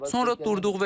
Sonra durduq.